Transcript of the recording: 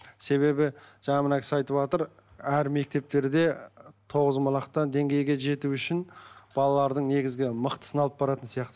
себебі жаңа мына кісі айтып отыр әр мектептерде тоғызқұмалақтан деңгейге жету үшін балалардың негізгі мықтысын алып баратын сияқты